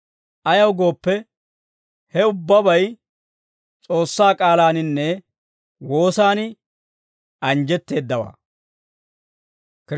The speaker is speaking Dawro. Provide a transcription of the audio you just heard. Ayaw gooppe, he ubbabay S'oossaa k'aalaaninne woosan anjjetteeddawaa.